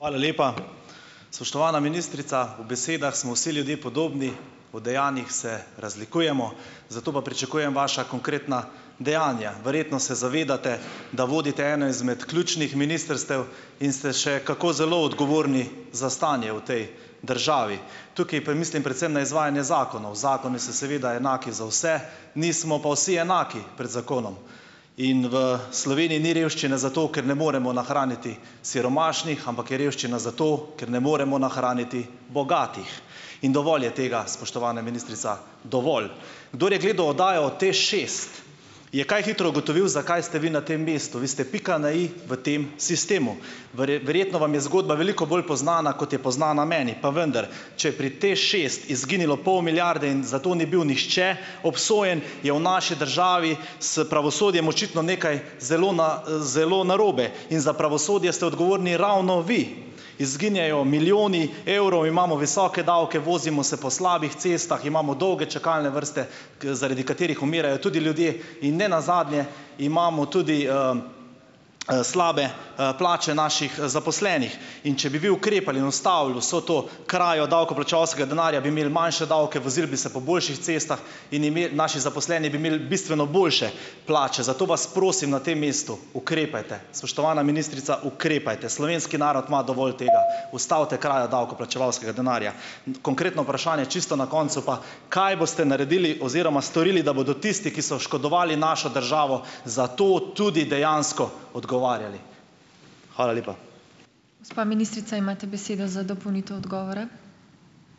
Hvala lepa. Spoštovana ministrica. V besedah smo vsi ljudje podobni, v dejanih se razlikujemo, zato pa pričakujem vaša konkretna dejanja. Verjetno se zavedate, da vodite eno izmed ključnih ministrstev in ste še kako zelo odgovorni za stanje v tej državi. Tukaj pa mislim predvsem na izvajanje zakonov. Zakoni so seveda enaki za vse, nismo pa vsi enaki pred zakonom. In v Sloveniji ni revščine zato, ker ne moremo nahraniti siromašnih, ampak je revščina zato, ker ne moremo nahraniti bogatih, in dovolj je tega, spoštovana ministrica. Dovolj. Kdor je gledal oddajo o TEŠšest, je kaj hitro ugotovil, zakaj ste vi na tem mestu. Vi ste pika na i v tem sistemu. verjetno vam je zgodba veliko bolj poznana, kot je poznana meni, pa vendar. Če je pri TEŠšest izginilo pol milijarde in zato ni bil nihče obsojen, je v naši državi s pravosodjem očitno nekaj zelo zelo narobe. In za pravosodje ste odgovorni ravno vi. Izginjajo milijoni evrov, imamo visoke davke, vozimo se po slabih cestah, imamo dolge čakalne vrste, ker zaradi katerih umirajo tudi ljudje in nenazadnje imamo tudi, slabe, plače naših zaposlenih. In če bi vi ukrepali in ustavili vso to krajo davkoplačevalskega denarja, bi imeli manjše davke, vozili bi se po boljših cestah in ime naši zaposleni bi imeli bistveno boljše plače. Zato vas prosim na tem mestu: ukrepajte. Spoštovana ministrica, ukrepajte. Slovenski narod ima dovolj tega. Ustavite krajo davkoplačevalskega denarja. Konkretno vprašanje čisto na koncu pa: kaj boste naredili oziroma storili, da bodo tisti, ki so oškodovali našo državo, za to tudi dejansko odgovarjali. Hvala lepa.